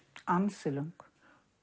ansi löng